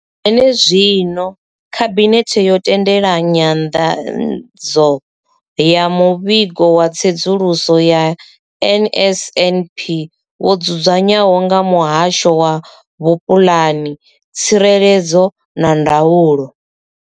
Zwenezwino, khabinethe yo tendela nyanḓadzo ya muvhigo wa tsedzuluso ya NSNP wo dzudzanywaho nga muhasho wa vhupulani, tsireledzo na ndaulo.